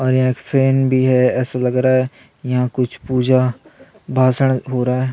और यहाँ फैन भी हैं ऐसा लग रहा है यहाँ कुछ पूजा भाषण हो रहा हैं।